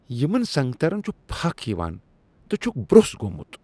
یمن سنگترن چُھ پھكھ یوان تہٕ چھكھ برٛس گوٚمُت ۔